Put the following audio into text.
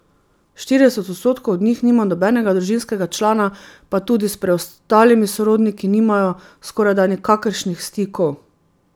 Štirideset odstotkov od njih nima nobenega družinskega člana pa tudi s preostalimi sorodniki nimajo skorajda nikakršnih stikov.